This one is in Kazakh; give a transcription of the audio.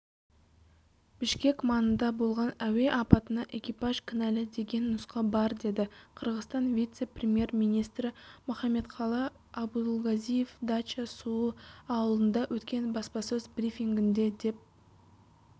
бішкек маңында болған әуе апатына экипаж кінәлі деген нұсқа бар деді қырғызстан вице-премьер-министрі мухамметқалый абулгазиев дача-суу ауылында өткен баспасөз брифингінде деп